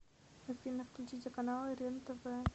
афина включите каналы рентв